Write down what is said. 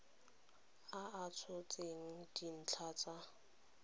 a a tshotseng dintlha tsa